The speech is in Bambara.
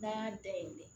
N'an y'a dayɛlɛ